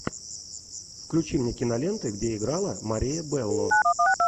включи мне киноленты где играла мария белло